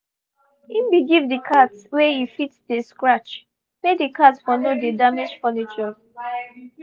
he been give the cat wey e fit dey scratch make the cat for no dey damage furnitures